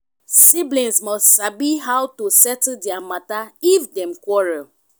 siblings must sabi how to settle their matter if dem quarell